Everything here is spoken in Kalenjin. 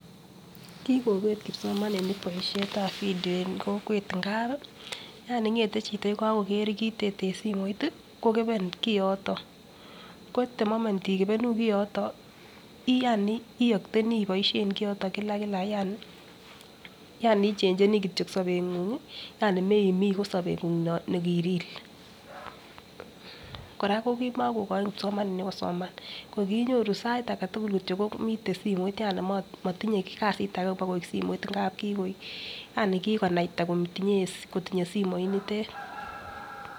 Kikobet kipsomaninik boishetab video en kokwet ngapi yani ngate chito yekokogee kit ot en simoit ko koben koyoton ko the moment imobenu koyoton yani iokteni iboishen kiyoton Kila Kila yani yani ichencheni kityok sobenyunhi yani moimi ko sobengungung ni ki real. Koraa ko kimokogoin kipsomaninik kosoman kor kinyoru ko sait agetutuk kityok miten simoit motinye kasit age bakoik simoit ngap kikoik yani kikonaita kotinye somoit nitet.